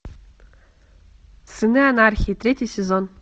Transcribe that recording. сыны анархии третий сезон